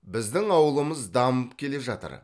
біздің ауылымыз дамып келе жатыр